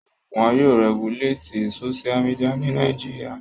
Won yóò rẹguléètì Sóṣú midià ní Nàìjíríà